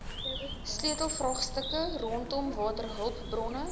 sleutelvraagstukke rondom waterhulpbronne